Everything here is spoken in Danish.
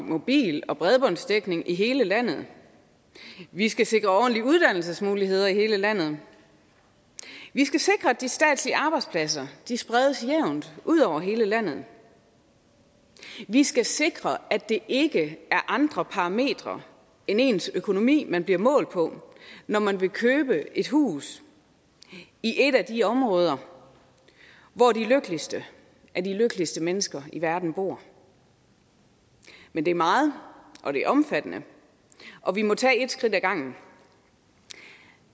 mobil og bredbåndsdækning i hele landet vi skal sikre ordentlige uddannelsesmuligheder i hele landet vi skal sikre at de statslige arbejdspladser spredes jævnt ud over hele landet vi skal sikre at det ikke er andre parametre end ens økonomi man bliver målt på når man vil købe et hus i et af de områder hvor de lykkeligste af de lykkeligste mennesker i verden bor men det er meget og det er omfattende og vi må tage ét skridt ad gangen